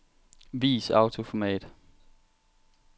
Vis autoformat.